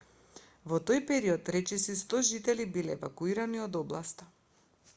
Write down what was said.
во тој перод речиси 100 жители биле евакуирани од областа